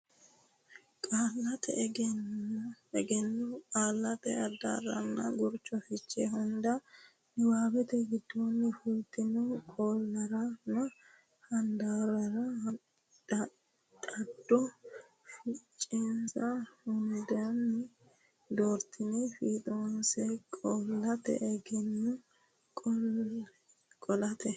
Qaallate Egenno Qaallate Addarronna Gurcho Fiche hunda niwaawete giddonni fultino qaallaranna handaarrara dhaaddo fichensa hundinni doortine fiixoonse Qaallate Egenno Qaallate.